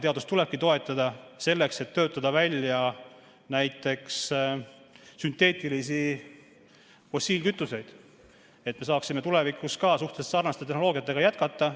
Teadust tulebki toetada selleks, et töötada välja näiteks sünteetilisi fossiilkütuseid, et me saaksime tulevikus suhteliselt sarnaste tehnoloogiatega jätkata.